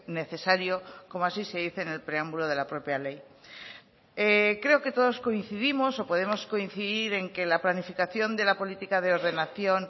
necesario como así se dice en el preámbulo de la propia ley creo que todos coincidimos o podemos coincidir en que la planificación de la política de ordenación